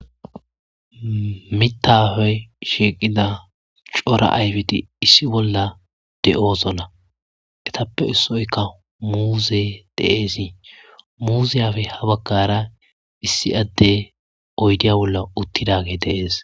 Mitafey shiqida cora ayfiti issi bolla de'oso na etappe issoykka muuse deesi muuziyafe ha bagkara issi adde oydiya bolla uttidage deees.